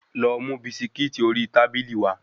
Lọ mú bisikíìtì ori tábìlì wá.